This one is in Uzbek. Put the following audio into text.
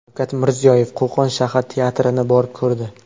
Shavkat Mirziyoyev Qo‘qon shahar teatrini borib ko‘rdi.